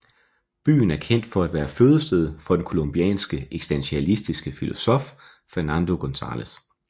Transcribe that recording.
Byen er kendt for at være fødested for den colombianske eksistentialistiske filosof Fernando González